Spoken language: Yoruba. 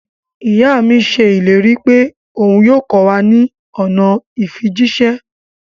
Iya mi ṣe ileri pe oun yoo kọ wa ni ọna ifijiṣẹ.